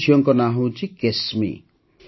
ଏହି ଝିଅଙ୍କ ନାଁ ହେଉଛି କେସ୍ମି